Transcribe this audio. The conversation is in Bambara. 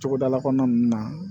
Togodala kɔnɔna na